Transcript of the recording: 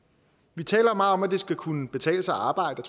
vi taler meget om at det skal kunne betale sig at arbejde